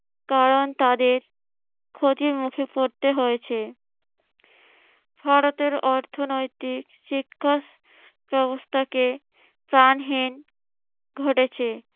কারণ তাদের ক্ষতির মুখে পরতে হয়েছে। ভারতের অর্থনৈতিক শিক্ষা ব্যবস্থাকে প্রাণহীন ঘটেছে